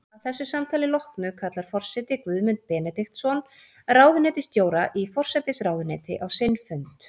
Að þessu samtali loknu kallar forseti Guðmund Benediktsson, ráðuneytisstjóra í forsætisráðuneyti, á sinn fund.